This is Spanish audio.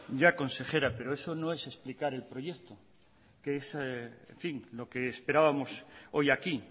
ya consejera pero eso no es explicar el proyecto que es lo que esperábamos hoy aquí